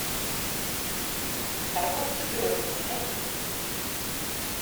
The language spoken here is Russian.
торговцы грезами найти